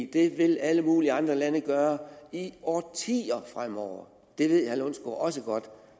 det vil alle mulige andre lande gøre i årtier fremover det ved herre lundsgaard også godt